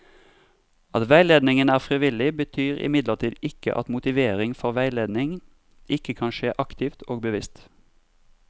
At veiledningen er frivillig, betyr imidlertid ikke at motivering for veiledning ikke kan skje aktivt og bevisst.